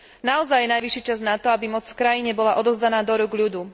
Naozaj je najvyšší čas na to, aby moc v krajine bola odovzdaná do rúk ľudu.